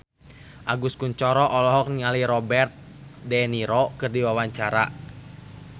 Agus Kuncoro olohok ningali Robert de Niro keur diwawancara